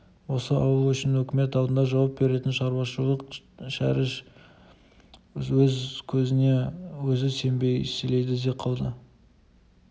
осы ауыл үшін өкімет алдында жауап беретін шырылдауық шәріп өз көзіне өзі сенбей сілейді де қалды